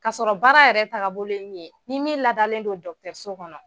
K'a sɔrɔ baara yɛrɛ taga bolo in ye ni min ladalen don dɔgɔtɔrɔso kɔnɔ.